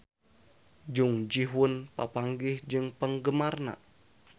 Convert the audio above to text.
Jung Ji Hoon papanggih jeung penggemarna